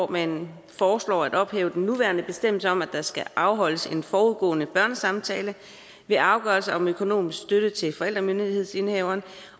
man foreslår at ophæve den nuværende bestemmelse om at der skal afholdes en forudgående børnesamtale ved afgørelser om økonomisk støtte til forældremyndighedsindehaveren